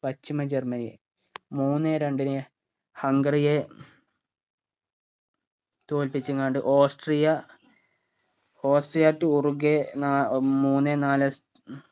പശ്ചിമ Germany മൂന്നേ രണ്ടിന് ഹംഗറിയെ തോല്പിച്ചുംകണ്ട് ഓസ്ട്രിയ ഓസ്ട്രിയ to ഉറുഗേ ന ഉം മൂന്നേ നാല്